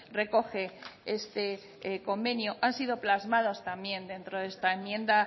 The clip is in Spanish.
recoge este convenio han sido plasmado también dentro de esta enmienda